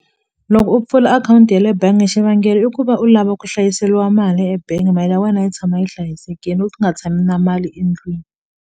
Loko u pfula akhawunti ya le bengi xivangelo i ku va u lava ku hlayiseliwa mali ebengi mali ya wena yi tshama yi hlayisekile u nga tshami na mali endlwini.